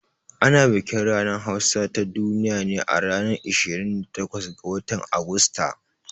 Ana bikin ranar hausa ta duniya ne a ranar 26 ga watan Agusta